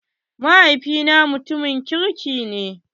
Mahaifi na mutumin kirki ne.